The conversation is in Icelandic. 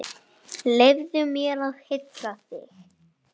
Leyfðu mér að hylla þig.